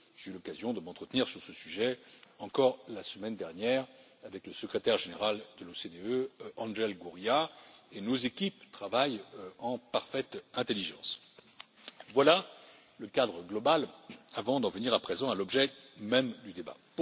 J'ai eu l'occasion de m'entretenir sur ce sujet la semaine dernière encore avec le secrétaire général de l'OCDE, Angel Gurría, et nos équipes travaillent en parfaite intelligence Voilà le cadre global avant d'en venir à présent à l'objet même du débat.